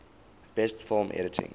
best film editing